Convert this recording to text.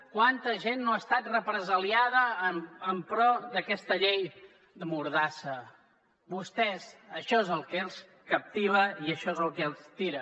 quanta gent no ha estat represaliada en pro d’aquesta llei mordassa a vostès això és el que els captiva i això és el que els tira